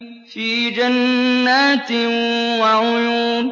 فِي جَنَّاتٍ وَعُيُونٍ